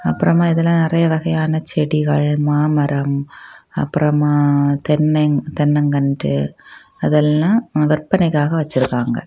அப்புறமா இதுல நறைய வகையான செடிகள் மாமரம் அப்புறமா தென்னை தென்னங்கன்று அதெல்லாம் விற்பனைக்காக வச்சிருக்காங்க.